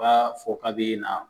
U b'a fɔ ka bɛ na